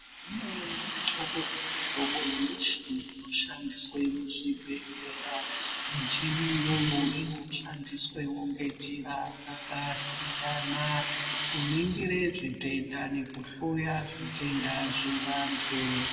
Kune mihlobo nemihlobo yemichini inoshandiswe muzvibhehleya ,michini iyoyo inoshandiswemwo ngenjira dzakasiyana kuningire zvitenda nekuhloya zvitenda zvevantu.